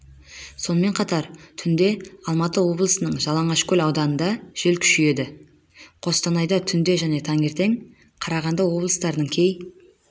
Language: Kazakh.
сонымен қатар түнде алматы облысының жалаңашкөл ауданында жел күшейеді қостанайда түнде және таңертең қарағанды облыстарының кей